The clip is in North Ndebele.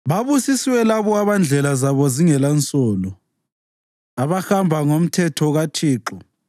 Babusisiwe labo abandlela zabo zingelansolo, abahamba ngomthetho kaThixo.